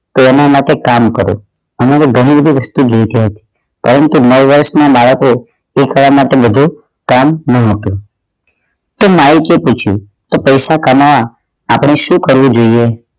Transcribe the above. તો એના માટે કામ કરો અમારે ગમ્મે એ વસ્તુ જોતી હોય પરંતુ નવ વર્ષ ના બાળકો તે બધુ કામ ન હતું માઇક એ પૂછ્યું તો પૈસા કમાવા આપણે શું કરવું જોઈએ